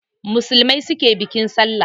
Musulmai su ke bikin Sallah.